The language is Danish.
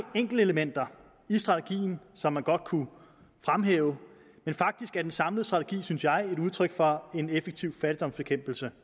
enkeltelementer i strategien som man godt kunne fremhæve men faktisk er den samlede strategi synes jeg et udtryk for en effektiv fattigdomsbekæmpelse